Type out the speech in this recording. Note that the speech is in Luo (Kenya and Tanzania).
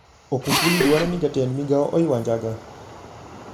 Okufuli dwaro ni jatend migao oywa njaga